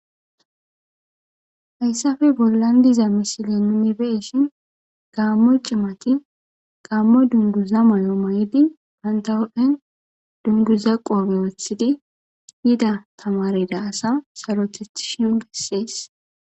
Hayssafe bollandiza misile nuni beeshin gaammo cimati gaammo dunduza may7o mayidi pantawophen dunduza qoobe wothide yida tamarida asa sarotethishion bessees.